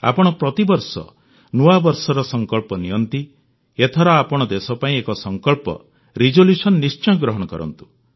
ଆପଣ ପ୍ରତିବର୍ଷ ନୂଆବର୍ଷର ସଂକଳ୍ପ ନିଅନ୍ତି ଏଥର ଆପଣ ଦେଶ ପାଇଁ ଏକ ସଂକଳ୍ପ ନିଶ୍ଚୟ ଗ୍ରହଣ କରନ୍ତୁ